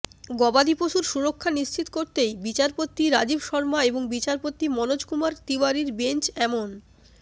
গবাদিপশুর সুরক্ষা নিশ্চিত করতেই বিচারপতি রাজীব শর্মা এবং বিচারপতি মনোজকুমার তিওয়ারির বেঞ্চ এমন